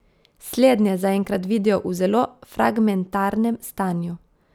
Slednje zaenkrat vidijo v zelo fragmentarnem stanju.